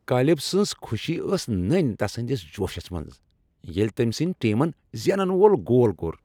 Caleb سنز خوشی ٲس نٔنۍ تسٕندس جوشس منٛز ییٚلہ تٔمۍ سٕنٛدۍ ٹیمن زینن وول گول کوٚر۔